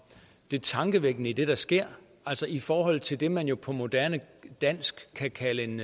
det tankevækkende i det der sker i forhold til det man jo på moderne dansk kan kalde en